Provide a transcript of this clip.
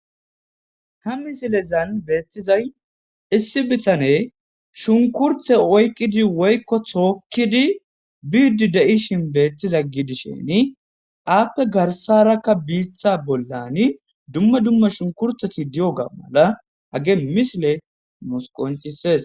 ha misilezan beeththizay issi bitane shunkurthe oykqidi woykko tookkidi biiddi de7ishin beettiza gidisheni aappe garsarakka biitha bollani dumma dumma shunkurtheti di7o ga mala hage misile musqoncises